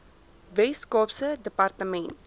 wes kaapse departement